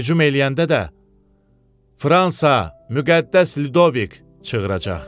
Hücum eləyəndə də Fransa, müqəddəs Lidovik çığıracaq.